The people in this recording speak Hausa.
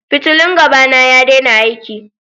Fitillun gaba na ya daina aiki.